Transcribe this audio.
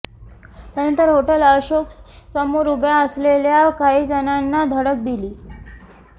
त्यानंतर हॉटेल अशोक समोर उभ्या असलेल्या काहीजणांना धडक दिली